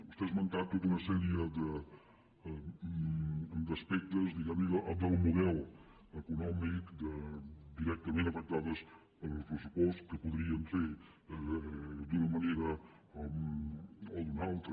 vostè ha esmentat tota una sèrie d’aspectes diguem ne del model econòmic directament afectades pel pressupost que podríem fer d’una manera o d’una altra